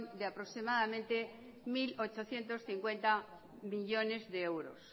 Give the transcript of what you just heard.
de aproximadamente mil ochocientos cincuenta millónes de euros